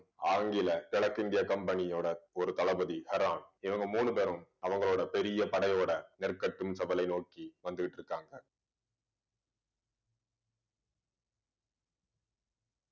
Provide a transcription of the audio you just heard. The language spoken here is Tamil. ஆங்கில கிழக்கிந்திய கம்பெனியோட ஒரு தளபதி ஹெரான் இவங்க மூணு பேரும் அவங்களோட பெரிய படையோட நெற்கட்டும் செவலை நோக்கி வந்துகிட்டு இருக்காங்க